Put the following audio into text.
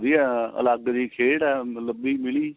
ਵਧੀਆ ਅਲੱਗ ਜੀ ਖੇਡ ਏ ਮਤਲਬ ਵੀ ਮਿਲੀ